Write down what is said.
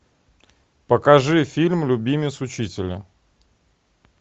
покажи фильм любимец учителя